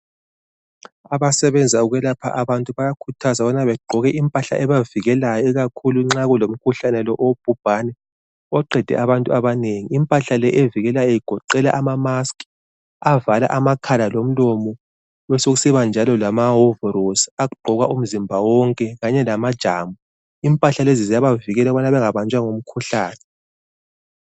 Abasebenza ukwelapha abantu bayakhuthaza ukubana begqoke impahla ebavikelayo ikakhulu nxa kulomkhuhlane lo obhubhane oqede abantu abanengi. Impahla le evikelayo igoqela amamaski avala amakhala lomlomo besokusibanjalo lamawovorosi agqokwa umzimba wonke kanye lamajambo. Impahla lezi ziyabavikela ukubana bengabanjwa ngumkhuhlane.